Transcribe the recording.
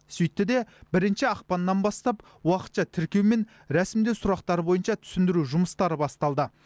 сөйтті де бірінші ақпаннан бастап уақытша тіркеу мен рәсімдеу сұрақтары бойынша түсіндіру жұмыстары басталды